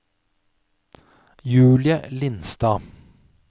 Julie Lindstad